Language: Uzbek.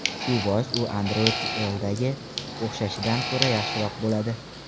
Shu bois u Android L’dagi o‘xshashidan ko‘ra yaxshiroq bo‘ladi.